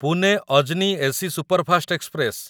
Pune Ajni AC superfast express